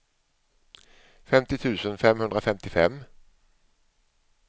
femtio tusen femhundrafemtiofem